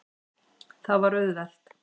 Það var auðvelt.